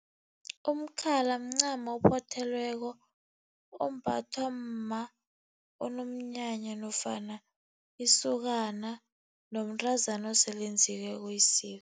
Umkhala mncamo ophothelweko ombathwa mma onomnyanya, nofana isokana nomntazana osele enzileko isiko.